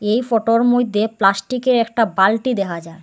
এই ফোটোর মধ্যে প্লাস্টিকের একটা বালটি দেখা যার।